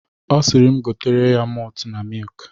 Ọ sịrị m gotere ya motu na mik.